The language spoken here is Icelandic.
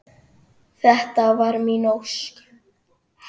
. þetta var mín ósk.